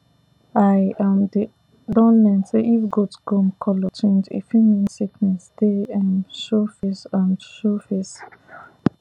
i um dey don learn say if goat gum color change e fit mean sickness dey um show face um show face